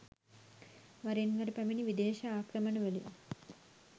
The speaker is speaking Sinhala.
වරින් වර පැමිණි විදේශ ආක්‍රමණවලින්